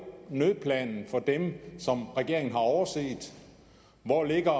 nødplanen for dem som regeringen har overset hvor ligger